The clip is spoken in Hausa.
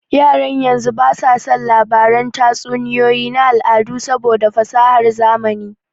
Yaran yanzu ba su son labaran tatsuniyoyi na al'adu saboda fasahar zamani